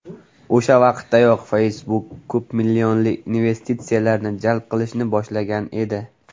O‘sha vaqtdayoq Facebook ko‘pmillionli investitsiyalarni jalb qilishni boshlagan edi.